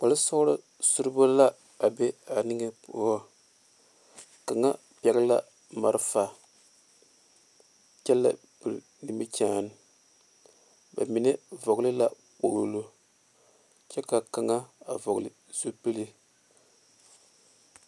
Kpaare soɔloŋ sure bo la be a yiri poɔ kaŋe pɛle la malefa kyɛ la pere nimikyene ba meŋ vɔle la kpɔloŋ kyɛ ka kaŋ vɔle zupele.